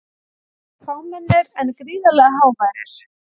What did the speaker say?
Þeir voru fámennir en gríðarlega háværir.